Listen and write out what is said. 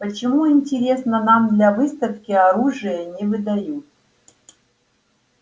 почему интересно нам для выставки оружие не выдают